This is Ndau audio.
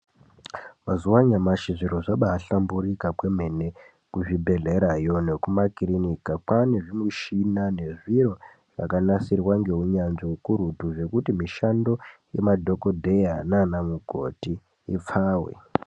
Mazuva anyamashi zviro zvambahlamburika kwemene. Kuzvibhedherayo nekumakiriniki kwava nezvimishina ngezviro zvakanasirwa ngeunyanzvi ukurutu zvokuti mishando yamadhokodheya nana mukoti ipfave.